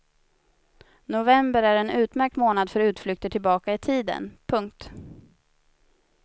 November är en utmärkt månad för utflykter tillbaka i tiden. punkt